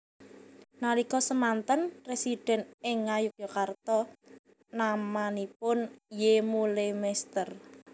Nalika semanten Residen ing Ngayogyakarta namanipun Y Mullemester